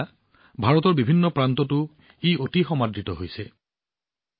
এতিয়া ভাৰতৰ বিভিন্ন প্ৰান্ততো ই অতি দ্ৰুতগতিত বিয়পি পৰিছে